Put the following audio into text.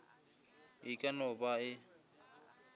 e ka no ba e